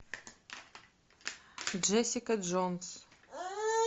джессика джонс